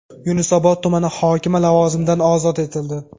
Yunusobod tumani hokimi lavozimidan ozod etildi.